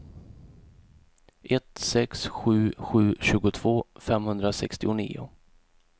ett sex sju sju tjugotvå femhundrasextionio